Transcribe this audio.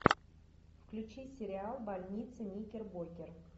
включи сериал больница никербокер